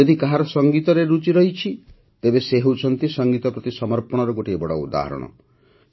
ଯଦି କାହାର ସଙ୍ଗୀତରେ ରୁଚି ଥାଏ ତେବେ ସେ ହେଉଛନ୍ତି ସଙ୍ଗୀତ ପ୍ରତି ସମର୍ପଣର ଗୋଟିଏ ବଡ଼ ଉଦାହରଣ